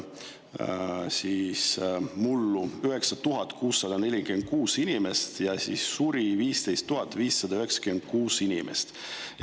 Mullu sündis meil 9646 inimest ja suri 15 596 inimest.